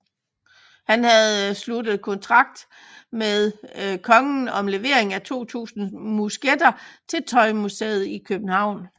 Han havde sluttet kontrakt med kongen om levering af 2000 musketter til Tøjhuset i Købehavn